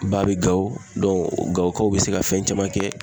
Ba be Gawo Gawokaw be se ka fɛn caman kɛ.